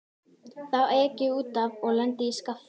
Þá ek ég út af og lendi í skafli.